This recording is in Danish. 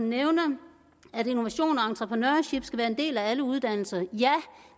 nævner at innovation og entreprenørskab skal være en del af alle uddannelser ja